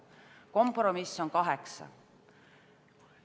Kompromiss on kaheksa.